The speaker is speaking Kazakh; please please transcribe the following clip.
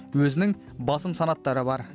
өзінің басым санаттары бар